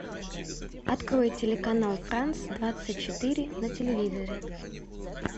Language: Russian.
открой телеканал франс двадцать четыре на телевизоре